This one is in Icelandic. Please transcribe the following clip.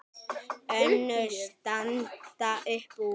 Önnur standa upp úr.